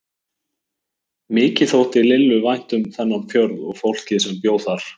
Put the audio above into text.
Mikið þótti Lillu vænt um þennan fjörð og fólkið sem bjó þar.